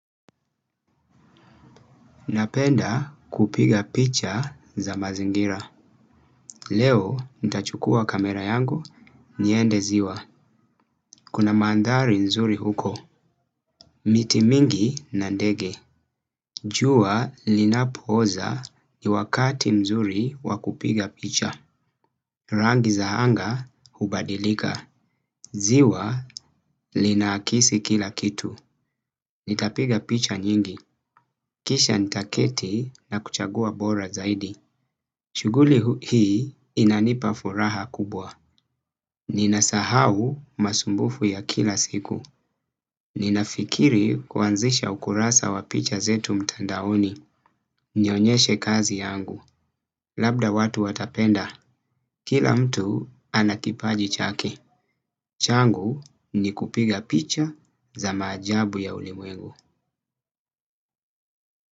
Napenda kupiga picha za mazingira. Leo, nitachukua kamera yangu, niende ziwa. Kuna mandhari nzuri huko. Miti mingi na ndege. Jua linapoza ni wakati mzuri wakupiga picha. Rangi za anga hubadilika. Ziwa lina akisi kila kitu. Nitapiga picha nyingi. Kisha nitaketi na kuchagua bora zaidi. Shughuli hii inanipa furaha kubwa. Ninasahau masumbufu ya kila siku. Ninafikiri kuanzisha ukurasa wa picha zetu mtandaoni. Nionyeshe kazi yangu. Labda watu watapenda. Kila mtu anakipaji chake. Changu ni kupiga picha za maajabu ya ulimwengu.